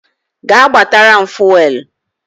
Gaa gbatara m Fuwelu!